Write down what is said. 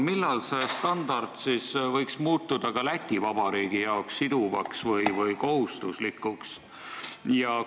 Millal see standard võiks muutuda ka Läti Vabariigi jaoks siduvaks või kohustuslikuks?